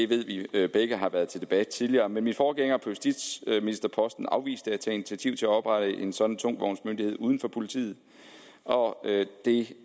vi begge har været til debat tidligere min forgænger på justitsministerposten afviste at tage initiativ til at oprette en sådan tungtvognsmyndighed uden for politiet og det